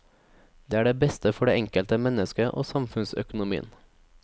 Det er det beste for det enkelte menneske og samfunnsøkonomien.